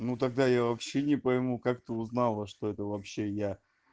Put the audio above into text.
ну тогда я вообще не пойму как ты узнала что это вообще я